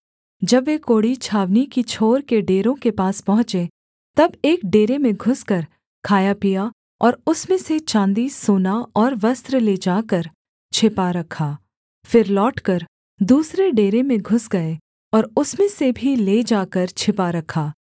जब वे कोढ़ी छावनी की छोर के डेरों के पास पहुँचे तब एक डेरे में घुसकर खाया पिया और उसमें से चाँदी सोना और वस्त्र ले जाकर छिपा रखा फिर लौटकर दूसरे डेरे में घुस गए और उसमें से भी ले जाकर छिपा रखा